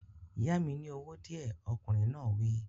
Yá mi ní owó díẹ̀, ọkùnrin náà wí